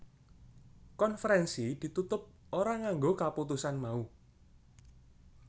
Konferensi ditutup ora nganggo kaputusan mau